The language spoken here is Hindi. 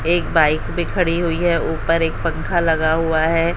एक बाइक भी खड़ी हुई है ऊपर एक पंखा लगा हुआ है।